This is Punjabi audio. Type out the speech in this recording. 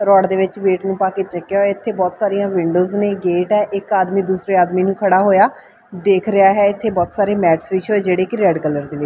ਰੋਡ ਦੇ ਵਿੱਚ ਵੇਟ ਨੂੰ ਪਾ ਕੇ ਚੱਕਿਆ ਹੋਇਆ ਇਥੇ ਬਹੁਤ ਸਾਰੀਆਂ ਵਿੰਡੋਜ ਨੇ ਗੇਟ ਹੈ ਇੱਕ ਆਦਮੀ ਦੂਸਰੇ ਆਦਮੀ ਨੂੰ ਖੜਾ ਹੋਇਆ ਦੇਖ ਰਿਹਾ ਹੈ ਇਥੇ ਬਹੁਤ ਸਾਰੇ ਮੈਟਸ ਵਿਛੇ ਹੋਏ ਜਿਹੜੇ ਕਿ ਰੈਡ ਕਲਰ ਦੇ ਨੇ।